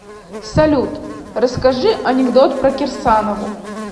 салют расскажи анекдот про кирсанову